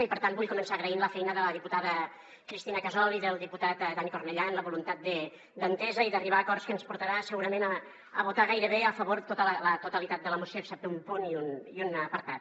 i per tant vull començar agraint la feina de la diputada cristina casol i del diputat dani cornellà en la voluntat d’entesa i d’arribar a acords que ens portarà segurament a votar gairebé a favor la totalitat de la moció excepte un punt i un apartat